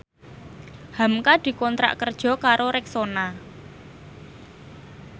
hamka dikontrak kerja karo Rexona